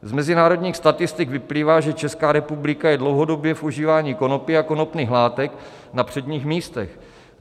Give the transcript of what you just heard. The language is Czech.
Z mezinárodních statistik vyplývá, že Česká republika je dlouhodobě v užívání konopí a konopných látek na předních místech.